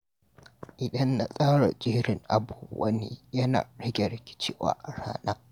Idan na tsara jerin abubuwan yi, yana rage rikicewa a rana.